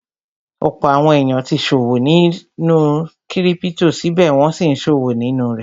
Ọ̀pọ̀ àwọn èèyàn tí ṣọwọ́ nù sínú kírípítò, síbẹ̀ wọ́n n sí ṣòwò nínú rẹ̀